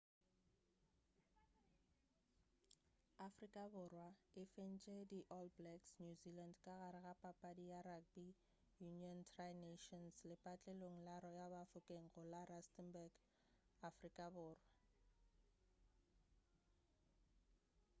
afrika borwa e fentše di all blacks new zealand ka gare ga papadi ya rugby union tri nations lepatlelong la royal bafokeng go la rustenburg afrika borwa